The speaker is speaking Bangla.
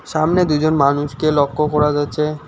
সামনে দুজন মানুষকে লক্ষ করা যাচ্ছে।